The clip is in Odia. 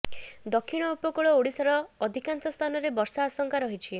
ଦକ୍ଷିଣ ଉପକୂଳ ଓଡ଼ିଶାର ଅଧିକାଂଶ ସ୍ଥାନରେ ବର୍ଷା ଆଶଙ୍କା ରହିଛି